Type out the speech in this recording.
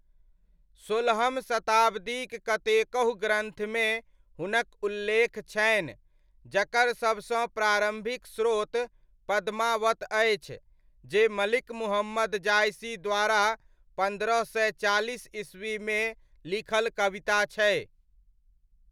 सोलहम शताब्दीक कतेकहु ग्रन्थमे हुनक उल्लेख छनि, जकर सबसँ प्रारम्भिक स्रोत पद्मावत अछि, जे मलिक मुहम्मद जयसी द्वारा पन्द्रह सय चालिस ई. मे लिखल कविता छै।